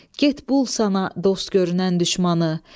Get bul sana dost görünən düşmanı.